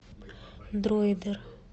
дроидер